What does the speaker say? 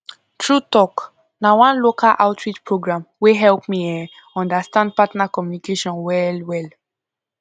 true talk na one local outreach program wey help me um understand partner communication well well